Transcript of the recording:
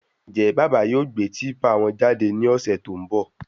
Njẹ bàbá yóò gbé típà wọn jáde ní ọsẹ tó n bọ?